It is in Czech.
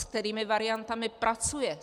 S kterými variantami pracuje?